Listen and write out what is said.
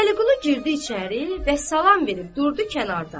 Vəliqulu girdi içəri və salam verib durdu kənarda.